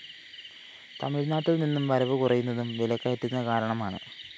തമിഴ്‌നാട്ടില്‍ നിന്നും വരവ് കുറയുന്നതും വിലക്കയറ്റത്തിനു കാരണമാണ്